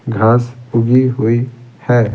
घास उगी हुई है।